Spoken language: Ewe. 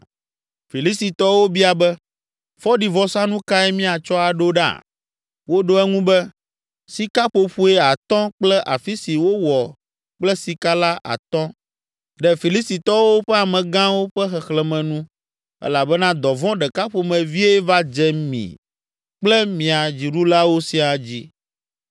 Filistitɔwo bia be, “Fɔɖivɔsanu kae míatsɔ aɖo ɖa?” Woɖo eŋu be, “Sikaƒoƒoe atɔ̃ kple afi si wowɔ kple sika la atɔ̃, ɖe Filistitɔwo ƒe amegãwo ƒe xexlẽme nu elabena dɔvɔ̃ ɖeka ƒomevie va dze mi kple mia dziɖulawo siaa dzi.